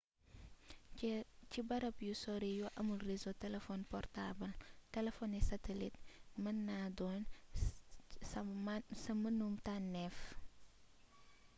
ci barab yu sori yu amul réseau telefon portaabal telefony satelit mën naa doon sa mennum tànnéef